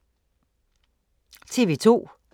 TV 2